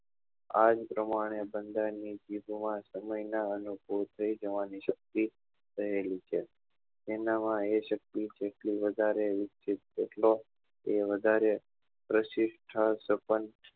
આ જ પ્રમાણે બધા ની જીભ માં સમય ની અનુકુળ થઇ જવા ની શક્તિ રહેલી છે એના માં એના માં એ શક્તિ જેટલી વધારે વિકસિત એટલી વધારે પ્રશિષ્ઠા સપંચ